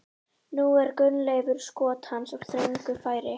Nú er Gunnleifur skot hans úr þröngu færi.